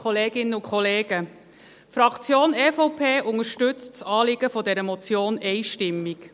Die Fraktion EVP unterstützt das Anliegen dieser Motion einstimmig.